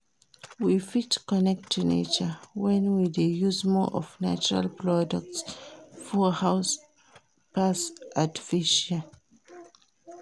We fit connect to nature when we de use more of natural products for house pass artificial